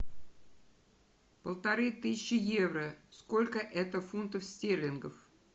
полторы тысячи евро сколько это фунтов стерлингов